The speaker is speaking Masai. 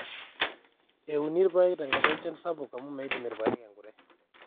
euni ipaek tenkata enchan sapuk amu meidim irpaek enkurre